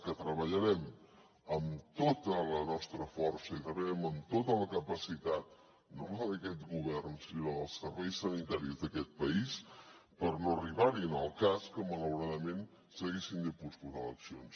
que treballarem amb tota la nostra força i treballem amb tota la capacitat no d’aquest govern sinó dels serveis sanitaris d’aquest país per no arribar hi en el cas que malauradament s’haguessin de posposar eleccions